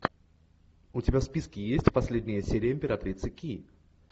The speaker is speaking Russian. у тебя в списке есть последняя серия императрицы ки